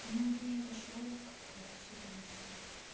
ну не обошёл как-то эту ситуацию